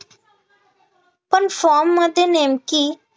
पण form मध्ये नेमकी